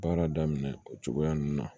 Baara daminɛ o cogoya ninnu na